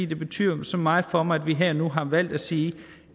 det betyder så meget for mig at vi her og nu har valgt at sige